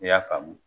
I y'a faamu